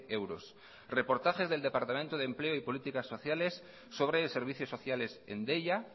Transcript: euros reportajes del departamento de empleo y políticas sociales sobre servicios sociales en deia